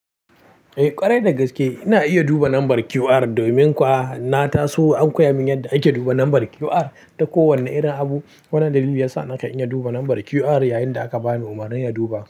Eh ƙwarai dagaske ina iya duba lambar QR domin kuwa na taso an koya mun yadda ake duba lambar QR. Da kowane irin abu, wani dalili ya sa naka in iya duba lambar QR yayin da aka bani umarnin ya duba.